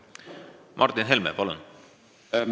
Martin Helme, palun!